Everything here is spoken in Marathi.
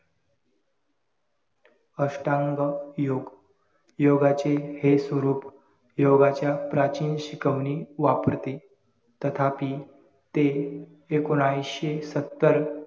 अष्टांग योग योगाची हे स्वरूप योगाच्या प्राचीन शिकवणी वापरते तथापि ते एकोणविशे सत्तर